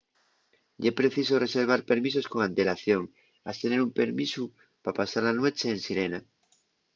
ye preciso reservar permisos con antelación has tener un permisu pa pasar la nueche en sirena